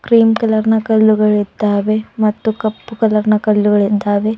Cream ಕಲರ್ನ ಕಲ್ಲುಗಳಿದ್ದಾವೆ ಮತ್ತು ಕಪ್ಪು ಕಲರ್ನ ಕಲ್ಲುಗಳಿದ್ದಾವೆ.